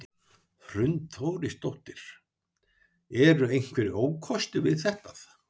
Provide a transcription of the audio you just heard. Hrund Þórsdóttir: Eru einhverjir ókostir við þetta?